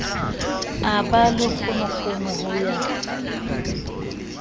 a ba lekgonono ho ya